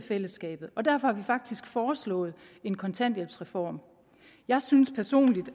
af fællesskabet og derfor har vi faktisk foreslået en kontanthjælpsreform jeg synes personligt